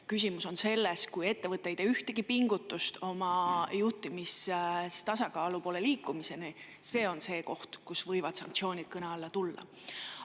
Küsimus on selles, et kui ettevõte ei tee juhtimistasakaalu poole liikumiseks ühtegi pingutust, siis see on see koht, kus sanktsioonid võivad kõne alla tulla.